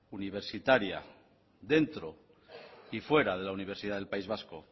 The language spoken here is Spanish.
universitaria dentro y fuera de la universidad del país vasco